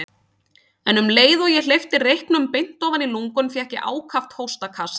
En um leið og ég hleypti reyknum beint ofan í lungun fékk ég ákaft hóstakast.